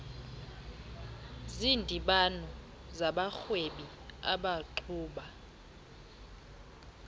zindibano zabarhwebi abaqhuba